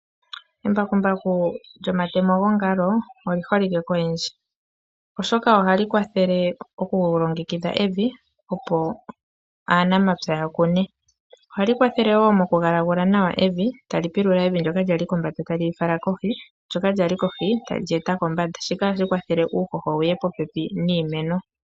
Embakumbaku lyomatemo gongalo oli holike koyendji. Oshoka ohali kwathele okulongekidha evi opo aanamapya ya kune. Ohali kwathele wo mokugalagula nawa evi. Tali pilula evi ndyoka lyali kombanda tali li fala kohi ndyoka lyali kohi tali lyeeta kombanda. Shika ohashi kwathele uuhoho wuye popepi niimeno.